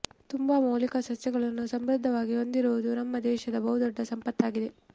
ತುಂಬ ಮೌಲಿಕ ಸಸ್ಯಗಳನ್ನು ಸಮೃದ್ಧವಾಗಿ ಹೊಂದಿರುವುದು ನಮ್ಮ ದೇಶದ ಬಹು ದೊಡ್ಡ ಸಂಪತ್ತಾಗಿದೆ